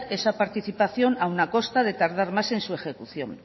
esa participación aún a costa de tardar más en su ejecución